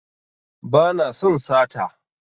Ba na son sata